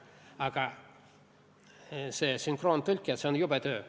Aga sünkroontõlk – see on jube töö.